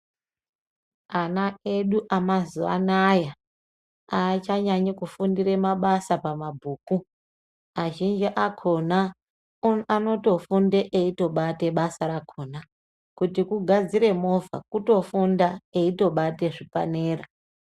Ana edu emazuwaanaya aachanyanyi kufundira mabasa pamabhuku azhinji akona anotofunde eitobata basa rakona kuti kugadzire movha kutofunda eitobata zvipanera.